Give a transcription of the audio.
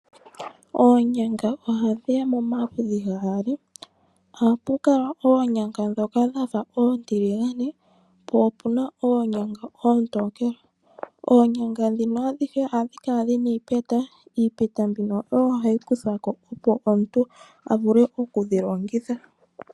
Oonyanga oha dhiya momaludhi gaali. Ohapu kala oonyanga ndhoka dhafa oontiligane, po opuna oonyanga oontokele. Oonyanga ndhino adhihe ohadhi kala dhina iipeta. Iipeta mbino oyo hayi kuthwako, opo omuntu a vule oku dhi longitha.